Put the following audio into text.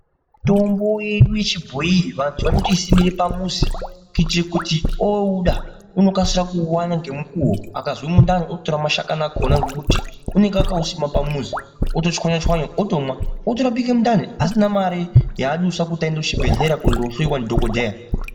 Mitombo yedu yechibhoyi vantu vanotoisimire pamuzi kuitire kuti ouda unokasira kuuwana ngemukuwo akazwa mundani ototora mashakani akona ngekuti unenge akausima pamuzi otochwanya chwanya otomwa otorapike mundani asina mare yaadusa kuti aende kuchibhedhlera kondohloiwa ndidhokodheya.